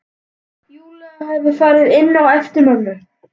Júlía hefur farið inn á eftir mömmu.